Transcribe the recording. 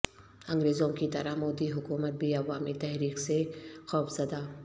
انگریزوں کی طرح مودی حکومت بھی عوامی تحریک سے خوفزدہ